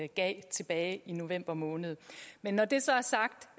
gav tilbage i november måned men når det så er sagt